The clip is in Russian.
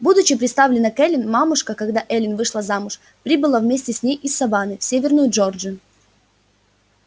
будучи приставлена к эллин мамушка когда эллин вышла замуж прибыла вместе с ней из саванны в северную джорджию